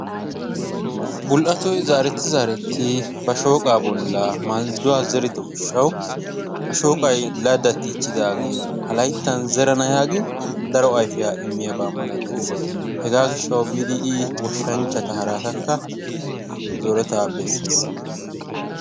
Bol"attoy zaretti zaretti ba shooqqaa bollan maldduwaa zerido giishshawu a shooqqay laadatichidaagee ha layttan zerana yaagin daro ayfiyaa immiyaaba malatenna. Hegaa giishawu biidi I goshshanchchata haratakka zoretaa bessiis.